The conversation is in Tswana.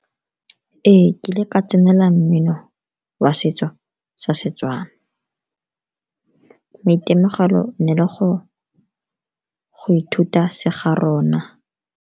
Ee, ke ile ka tsenela mmino wa setso sa Setswana, maitemogelo e ne e le go ithuta se garona.